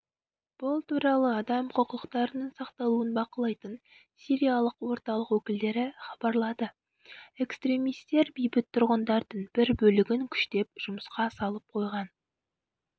бұл туралы адам құқықтарының сақталуын бақылайтын сириялық орталық өкілдері хабарлады экстремистер бейбіт тұрғындардың бір бөлігін күштеп жұмысқа салып қойған